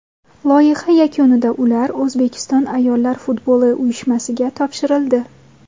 Loyiha yakunida ular O‘zbekiston ayollar futboli uyushmasiga topshirildi.